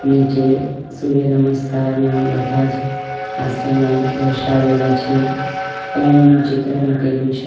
નીચે સૂર્યનમસ્કારના બધા જ આસનો દર્શાવેલા છે ઓમ નું ચિત્ર મૂકેલું છે.